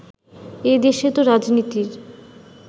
এ দেশে তো রাজনীতির